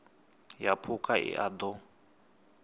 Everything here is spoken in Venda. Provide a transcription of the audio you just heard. ya phukha i a ṱo